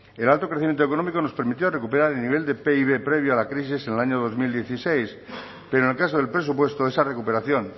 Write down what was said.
el alto crecimiento económico nos permitió recuperar el nivel de pib previo a la crisis en el año dos mil dieciséis pero en el caso del presupuesto esa recuperación